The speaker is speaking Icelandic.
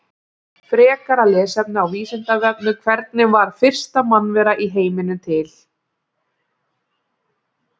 Frekara lesefni á Vísindavefnum: Hvernig varð fyrsta mannvera í heiminum til?